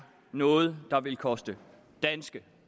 noget der vil koste danske